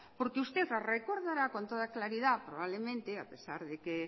porque usted la recordará con toda claridad probablemente a pesar de que